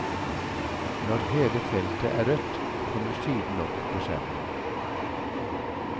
Når hele feltet er rødt kommer siden opp på skjermen.